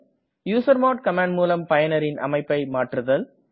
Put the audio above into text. usermod command முலம் பயனரின் அமைப்பை மாற்றுதல்